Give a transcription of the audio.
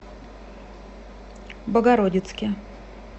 богородицке